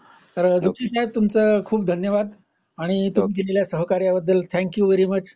जोशी साहेब तुमच धन्यवाद आणि तुम्ही केलेल्या सहकाऱ्याबद्दल थॅंकयू वेरी मच